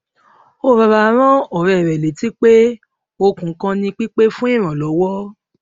ó rọra rán òré rè létí pé okun kan ni pípè fún ìrànlọwọ